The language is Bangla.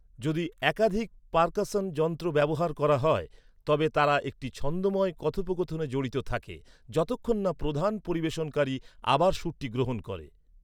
যদি একাধিক পার্কাসন যন্ত্র ব্যবহার করা হয় তবে তারা একটি ছন্দময় কথোপকথনে জড়িত থাকে যতক্ষণ না প্রধান পরিবেশনকারী আবার সুরটি গ্রহণ করে।